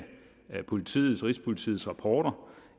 rigspolitiets rigspolitiets rapporter